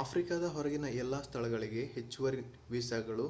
ಆಫ್ರಿಕಾದ ಹೊರಗಿನ ಎಲ್ಲ ಸ್ಥಳಗಳಿಗೆ ಹೆಚ್ಚುವರಿ ವೀಸಾಗಳು